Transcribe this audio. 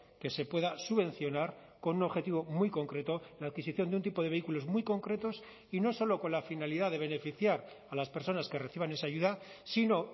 que se pueda subvencionar con un objetivo muy concreto la adquisición de un tipo de vehículos muy concretos y no solo con la finalidad de beneficiar a las personas que reciban esa ayuda sino